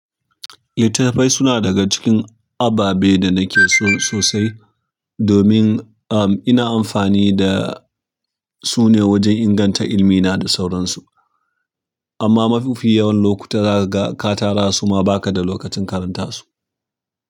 Littattafai suna daga cikin ababe da nake so sosai domin, um, ina amfani da su ne wajen inganta ilmi na da sauransu. Amma mafi yawan lokuta za ka ga ka tara su ma baka da lokacin karanta su.